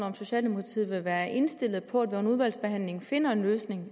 om socialdemokratiet vil være indstillet på at vi under udvalgsbehandlingen finder en løsning